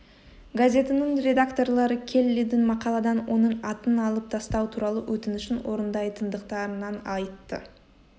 газетінің редакторлары келлидің мақаладан оның атын алып тастау туралы өтінішін орындайтындықтарын айтты